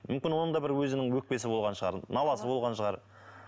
мүмүкін оның да бір өзінің өкпесі болған шығар наласы болған шығар